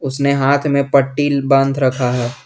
उसने हाथ में पट्टी बांध रखा है।